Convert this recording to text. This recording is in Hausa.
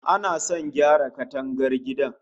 Ana sa ran gyara katangar gidan